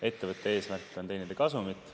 Ettevõtte eesmärk on teenida kasumit.